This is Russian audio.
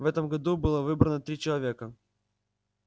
в этом году было выбрано три человека